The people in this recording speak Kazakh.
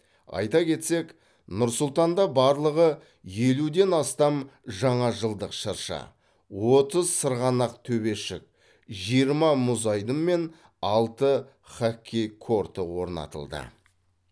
айта кетсек нұр сұлтанда барлығы елуден астам жаңажылдық шырша отыз сырғанақ төбешік жиырма мұзайдын мен алты хоккей корты орнатылды